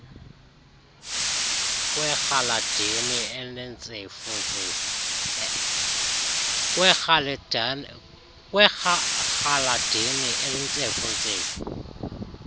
kwerhaladeni elintsefu ntsefu